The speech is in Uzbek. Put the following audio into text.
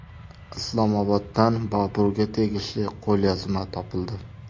Islomoboddan Boburga tegishli qo‘lyozma topildi.